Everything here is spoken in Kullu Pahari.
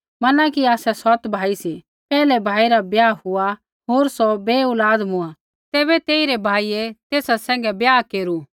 मना कि आसै सौत भाई सी पैहलै भाई रा ब्याह हुआ होर सौ बै औलाद मूँआ तैबै तेइरै भाइयै तेसा सैंघै ब्याह केरू